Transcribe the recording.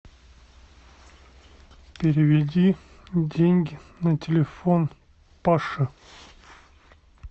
переведи деньги на телефон паше